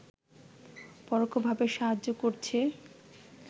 পরোক্ষভাবে সাহায্য করছে